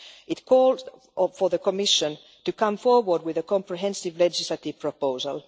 It called for the Commission to come forward with a comprehensive legislative proposal.